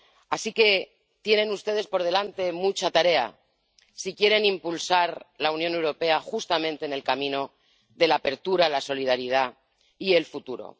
Así que tienen ustedes por delante mucha tarea si quieren impulsar la Unión Europea justamente en el camino de la apertura, la solidaridad y el futuro.